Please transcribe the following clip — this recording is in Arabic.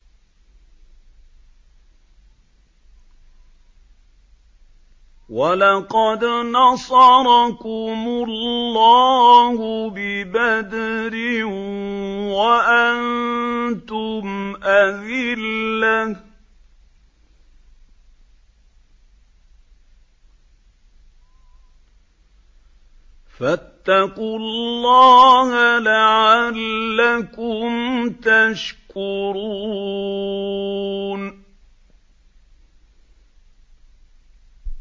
وَلَقَدْ نَصَرَكُمُ اللَّهُ بِبَدْرٍ وَأَنتُمْ أَذِلَّةٌ ۖ فَاتَّقُوا اللَّهَ لَعَلَّكُمْ تَشْكُرُونَ